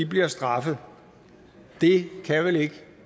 bliver straffet det kan vel ikke